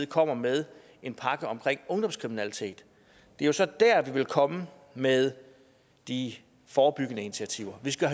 komme med en pakke om ungdomskriminalitet og det er så der vi vil komme med de forebyggende initiativer vi skal